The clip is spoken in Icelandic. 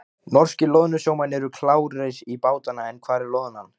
Norskir loðnusjómenn eru klárir í bátana en hvar er loðnan?